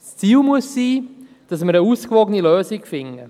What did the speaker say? Das Ziel muss es sein, dass wir eine ausgewogene Lösung finden.